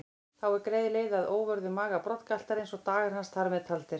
Þá er greið leið að óvörðum maga broddgaltarins og dagar hans þar með taldir.